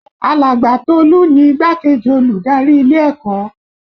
Alàgbà Tolu ni igbá-kejì olùdarí ilé ẹ̀kọ́